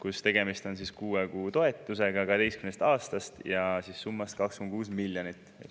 ja 12‑aastasest kuue kuu toetussummaga 2,6 miljonit eurot.